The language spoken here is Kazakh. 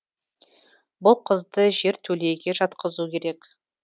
бұл қызды жертөлеге жатқызу керек